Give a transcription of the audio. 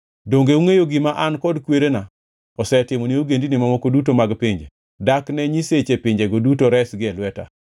“Donge ungʼeyo gima an kod kwerena osetimo ni ogendini mamoko duto mag pinje? Dak ne nyiseche pinjego duto resgi e lweta?